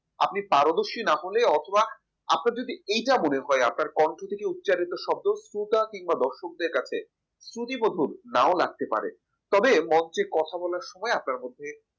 আপনি পারদর্শী না হলে অথবা আপনার যদি এইটা মনে হয় আপনার কন্ঠ থেকে উচ্চারিত শব্দ স্রোতা কিংবা দর্শকের কাছে শুতি মধুর না লাগতে পারে তবে মঞ্চে কথা বলার সময় আপনার মধ্যে